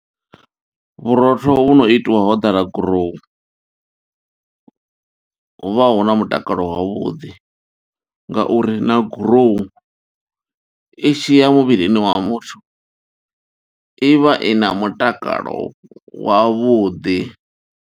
Vhurotho vhu no itiwa hodala gurowu, huvha hu na mutakalo wavhuḓi, nga uri na gurowu i tshi ya muvhilini wa muthu, i vha i na mutakalo wavhuḓi.